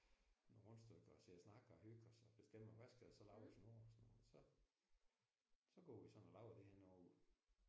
Nogle rundstykker og sidder og snakker og hygger så bestemmer hvad skal der så laves nu og sådan så så går vi sådan og laver det henover